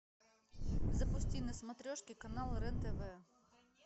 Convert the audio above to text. запусти на смотрешке канал рен тв